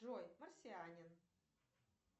джой марсианин